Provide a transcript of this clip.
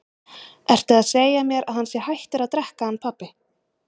Ertu að segja mér að hann sé hættur að drekka hann pabbi?